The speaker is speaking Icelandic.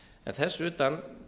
en þess utan